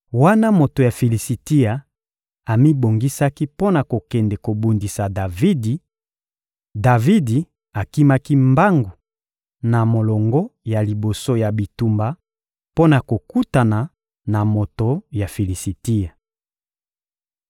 Wana moto ya Filisitia amibongisaki mpo na kokende kobundisa Davidi, Davidi akimaki mbangu na molongo ya liboso ya bitumba mpo na kokutana na moto ya Filisitia.